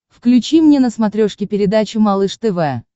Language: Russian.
включи мне на смотрешке передачу малыш тв